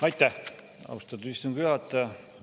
Aitäh, austatud istungi juhataja!